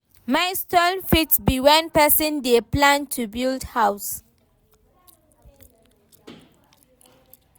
Milestone fit be when person dey plan to build house